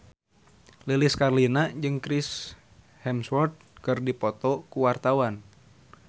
Lilis Karlina jeung Chris Hemsworth keur dipoto ku wartawan